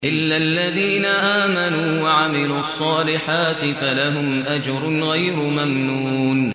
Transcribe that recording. إِلَّا الَّذِينَ آمَنُوا وَعَمِلُوا الصَّالِحَاتِ فَلَهُمْ أَجْرٌ غَيْرُ مَمْنُونٍ